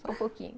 Só um pouquinho.